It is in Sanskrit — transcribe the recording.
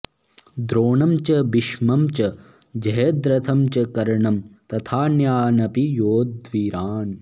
द्रोणं च भीष्मं च जयद्रथं च कर्णं तथान्यानपि योधवीरान्